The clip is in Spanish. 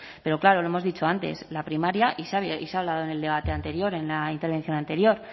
pero claro lo hemos dicho antes la primaria y se ha hablado en el debate anterior en la intervención anterior